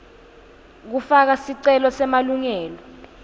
kufaka sicelo semalungelo